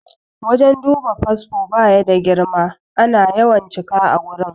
Wajen duba fasfo baya da girma, ana yawan cika a wurin